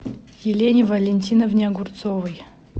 елене валентиновне огурцовой